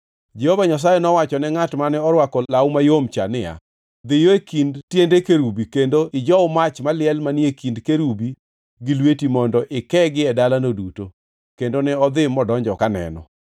Jehova Nyasaye nowachone ngʼat mane orwako law mayom niya, “Dhiyo e kind tiende kerubi kendo ijow mach maliel manie kind kerubi gi lweti mondo ikegi e dalano duto.” Kendo ne odhi modonjo kaneno.